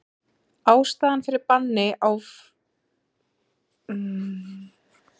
Ástæðan fyrir banni á fínkornóttu neftóbaki er líklega einnig stutt heilsufarslegum hugmyndum.